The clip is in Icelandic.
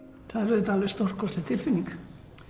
það er auðvitað alveg stórkostleg tilfinning